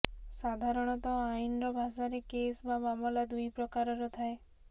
ସାଧାରଣତଃ ଆଇନ୍ର ଭାଷାରେ କେସ୍ ବା ମାମଲା ଦୁଇ ପ୍ରକାରର ଥାଏ